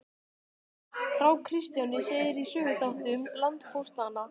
Frá Kristjáni segir í Söguþáttum landpóstanna.